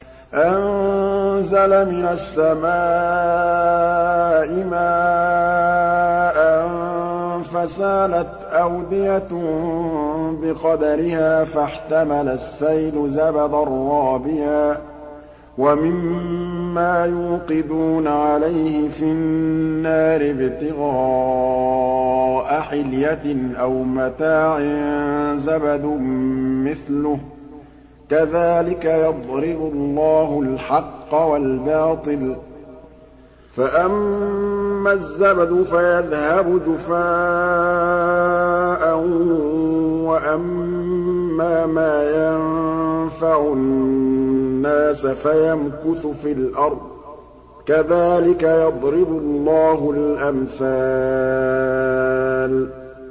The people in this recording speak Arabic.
أَنزَلَ مِنَ السَّمَاءِ مَاءً فَسَالَتْ أَوْدِيَةٌ بِقَدَرِهَا فَاحْتَمَلَ السَّيْلُ زَبَدًا رَّابِيًا ۚ وَمِمَّا يُوقِدُونَ عَلَيْهِ فِي النَّارِ ابْتِغَاءَ حِلْيَةٍ أَوْ مَتَاعٍ زَبَدٌ مِّثْلُهُ ۚ كَذَٰلِكَ يَضْرِبُ اللَّهُ الْحَقَّ وَالْبَاطِلَ ۚ فَأَمَّا الزَّبَدُ فَيَذْهَبُ جُفَاءً ۖ وَأَمَّا مَا يَنفَعُ النَّاسَ فَيَمْكُثُ فِي الْأَرْضِ ۚ كَذَٰلِكَ يَضْرِبُ اللَّهُ الْأَمْثَالَ